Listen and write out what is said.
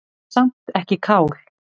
Samt ekki kál.